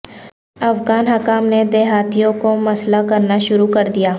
افغان حکام نے دیہاتیوں کو مسلح کرنا شروع کر دیا